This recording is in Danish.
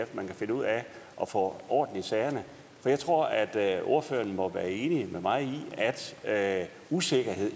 man kan finde ud af at få orden i sagerne for jeg tror at at ordføreren må være enig med mig i at usikkerhed